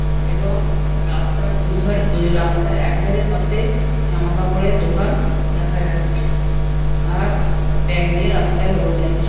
এবং রাস্তার দুধার রাস্তার এক ধরনের পাশে জামা কাপড়ের দোকান দেখা যাচ্ছে আর ব্যাগ নিয়ে রাস্তায় লোক যাচ্ছে ।